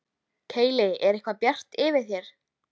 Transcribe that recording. Keili er eitthvað bjart yfir þér.